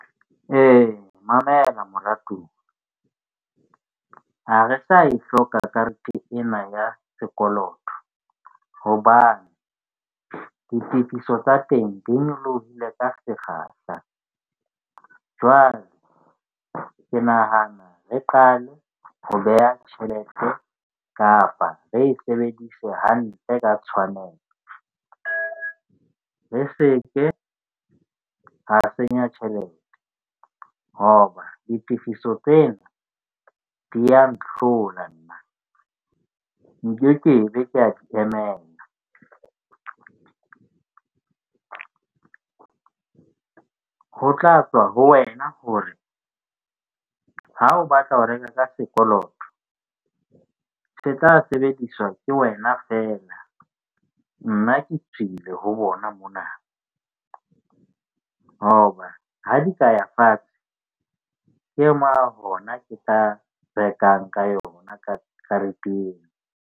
Ee, mamela moratuwa ha re Sa e hloka karete ena ya sekoloto hobane ditifiso tsa teng di nyolohile ka sekgahla. Jwale ke nahana re qale ho beha tjhelete kapa re e sebedise hantle, ka tshwanelo re seke ra senya tjhelete. Hoba ditifiso tsena di ya nhlola, nna nkekebe ka di emela ho tla tswa ho wena hore ha o batla ho reka ka sekoloto, se tla sebediswa ke wena feela, nna ke tswile ho bona mona hoba ha di ka ya fatshe, hona ke tla rekang ka yona ka kareteng.